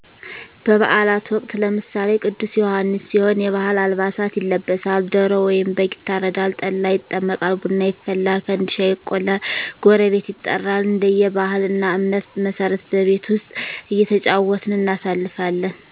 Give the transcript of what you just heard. በባአላት ወቅት ለምሳሌ ቅዱስ ዮሐንስ ሲሆን የባሀል አልባሳት ይለበሳል ዶሮ ወይም በግ ይታረዳል ጠላ ይጠመቃል ቡና ይፈላል ፈንድሻ ይቆላል ጎረቤት ይጠራል እንደየ ባህል እና እምነት መሠረት በቤት ዉስጥ እየተጫወትን እናሳልፍለን።